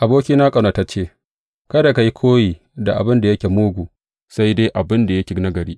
Abokina ƙaunatacce, kada ka yi koyi da abin da yake mugu sai dai abin da yake nagari.